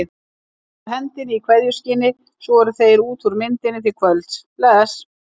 Lyftu hendi í kveðjuskyni, svo voru þeir út úr myndinni til kvölds, bless.